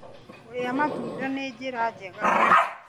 Kũrĩa matunda nĩ njĩra njega.